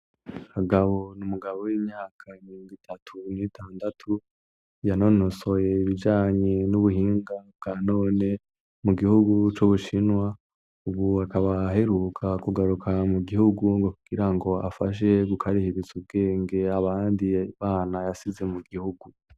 Kagabo ni umugabo w'imyaka mirongo itatu n'itandatu yanonosoye ibijanye n'ubuhinga bwa none mu gihugu c'Ubushinwa, ubu akaba aheruka kugaruka mu gihugu kugirango afashe gukarihiriza ubwenge abandi bana yasize mu gihugu.